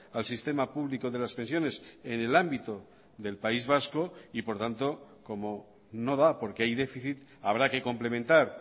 al sistema público de las pensiones en el ámbito del país vasco y por tanto como no da porque hay déficit habrá que complementar